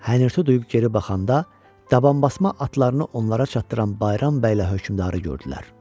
Hənirti duyub geri baxanda, dabanbasma atlarını onlara çatdıran Bayram bəylə hökmdarı gördülər.